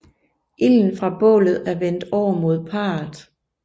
Ilden fra bålet er vendt over mod parret